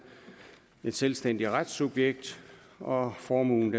et selvstændigt retssubjekt og formuen